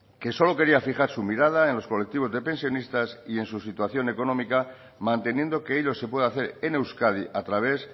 que solo quería fijar su mirada en los colectivos de pensionistas y en su situación económica manteniendo que ello se puede hacer en euskadi a través